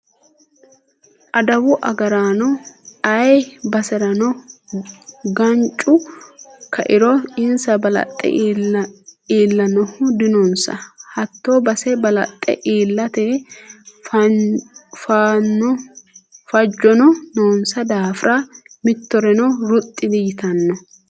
Adawu agaraano ayee baserano gancu kairo insa balaxe iillanohu dinonsa hatto base balaxe iillate fajono noonsa daafira mittoreno ruxxi diyittano.